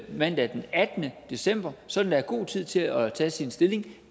mandag den attende december sådan er god tid til at tage stilling